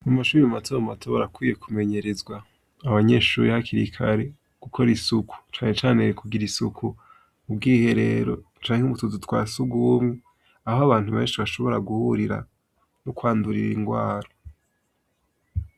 Mu mashure matomato barakwiye kumenyerezwa abanyeshure hakiri kare gukora isuku canecane kugira isuku mu bwiherero canke mutuzu twa sugumwe aho abantu benshi bashobora guhurira no kwandurira ingwara